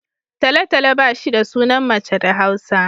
Talo-talo ba shi da sunan mace da Hausa